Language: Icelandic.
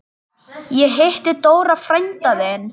Ég hitti Dóra frænda þinn.